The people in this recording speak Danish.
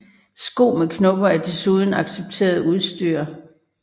Sko med knopper er desuden accepteret udstyr